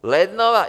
Lednová...